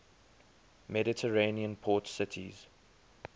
mediterranean port cities